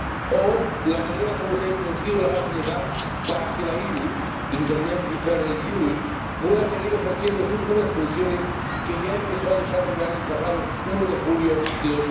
o la manera como se ha introducido la base legal para que la IRU pueda seguir ejerciendo unas funciones que ya empezó a desarrollar el pasado 1 de julio de